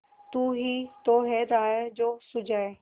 तू ही तो है राह जो सुझाए